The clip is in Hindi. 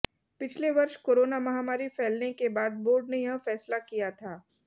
पिछले वर्ष कोरोना महामारी फैलने के बाद बोर्ड ने यह फैसला किया था